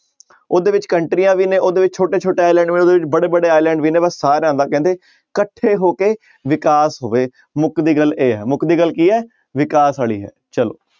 ਉਹਦੇ ਵਿੱਚ ਕੰਟਰੀਆਂ ਵੀ ਨੇ ਉਹਦੇ ਵਿੱਚ ਛੋਟੇ ਛੋਟੇ island ਬੜੇ ਬੜੇ island ਵੀ ਨੇ ਕਹਿੰਦੇ ਇਕੱਠੇ ਹੋ ਕੇ ਵਿਕਾਸ ਹੋਵੇ ਮੁਕਦੀ ਗੱਲ ਇਹ ਹੈ ਮੁਕਦੀ ਗੱਲ ਕੀ ਹੈ ਵਿਕਾਸ ਵਾਲੀ ਹੈ ਚਲੋ।